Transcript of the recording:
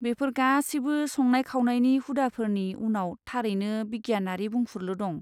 बेफोर गासैबो संनाय खावनायनि हुदाफोरनि उनाव थारैनो बिगियानारि बुंफुरलु दं।